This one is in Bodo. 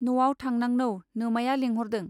न'आव थांनांनौ नोमाया लेंहरदों.